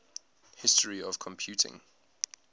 history of computing